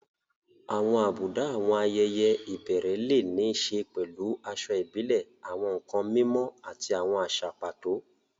Àwọn àbùdá àwọn ayẹyẹ ìbẹ̀rẹ̀ lè ní í ṣe pẹ̀lú aṣọ ìbílẹ̀, àwọn nkan mímọ́, àti àwọn àṣà pàtó.